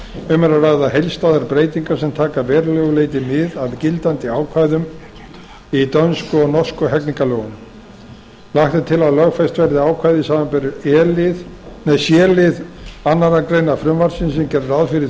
um er að ræða heildstæðar breytingar sem taka að verulegu leyti mið af gildandi ákvæðum í dönsku og norsku hegningarlögunum lagt er til að lögfest verði ákvæði samanber c lið annarrar greinar frumvarpsins sem gerir ráð fyrir